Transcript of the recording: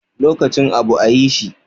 Lokacin abu ayi shi.